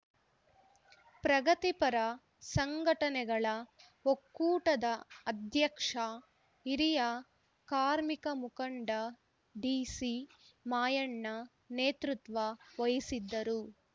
ಪ್ರಗತಿಪರ ಸಂಘಟನೆಗಳ ಒಕ್ಕೂಟದ ಅಧ್ಯಕ್ಷ ಹಿರಿಯ ಕಾರ್ಮಿಕ ಮುಖಂಡ ಡಿಸಿ ಮಾಯಣ್ಣ ನೇತೃತ್ವ ವಹಿಸಿದ್ದರು